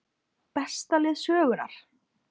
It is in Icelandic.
Besta lið sögunnar???